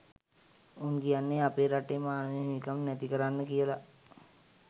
උන් කියන්නේ අපේ රටේ මානව හිමිකම් නැති කරන්න කියල